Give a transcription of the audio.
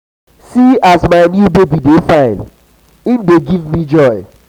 see as my new baby dey fine im dey give me joy.